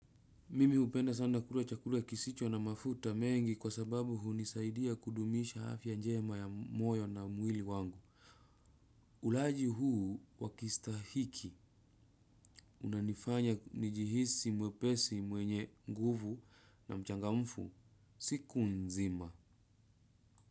Mimi hupenda sana kukulua chakula kisicho na mafuta mengi kwa sababu hunisaidia kudumisha afya njema ya moyo na mwili wangu. Ulaji huu wa kistahiki. Unanifanya nijihisi mwepesi mwenye nguvu siku nzima.